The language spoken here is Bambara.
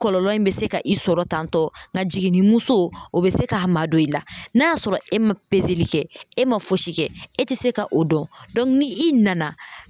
Kɔlɔlɔ in bɛ se ka i sɔrɔ tantɔ nka jiginni o bɛ se k'a madon i la n'a y'a sɔrɔ e ma kɛ e ma fosi kɛ e tɛ se ka o dɔn dɔnku ni i nana